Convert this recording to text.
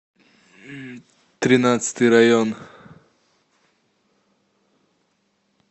тринадцатый район